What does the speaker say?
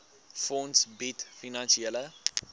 fonds bied finansiële